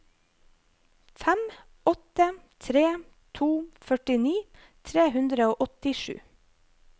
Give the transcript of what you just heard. fem åtte tre to førtini tre hundre og åttisju